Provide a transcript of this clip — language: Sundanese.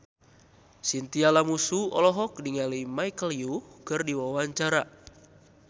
Chintya Lamusu olohok ningali Michelle Yeoh keur diwawancara